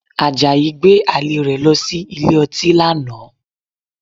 Àjàyí gbé àlè rẹ̀ lọ sí ilé ọtí lánàá